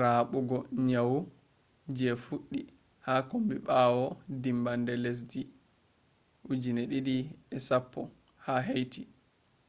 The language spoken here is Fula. rabugo nyawu je fuddi ha kombi bawo dimmbande lesdi 2010,ha haiti